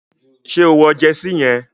Ṣé o wọ jersey yẹn?